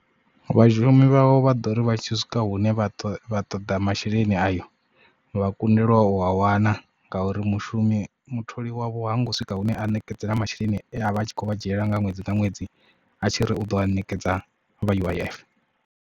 Vhashumi vhavho vha ḓo ri vha tshi swika hune vha vha ṱoḓa masheleni ayo vha kundelwa u a wana ngauri mushumi mutholi wavho hango swika hune a ṋekedzela masheleni a vha a tshi khou vha dzhiela nga ṅwedzi nga ṅwedzi a tshi ri u ḓo a ṋekedza vha U_I_F.